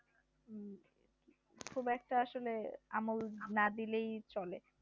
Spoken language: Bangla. খুব একটা আসলে আমল না দিলেই চলে